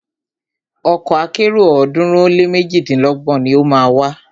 Ọkọ̀ akẹ́rò ọ̀ọ́dúnrún ó lé méjidínlọ́gbọ̀n ni o má a wà.